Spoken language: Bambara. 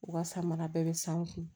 U ka san mana bɛɛ bɛ san u kun